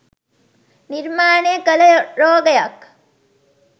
නිර්මාණය කල රෝගයක්.